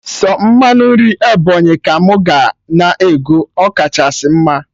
Sọ mmanụ nri Ebọnyị ka mụ ga na ego, ọ kachasị mma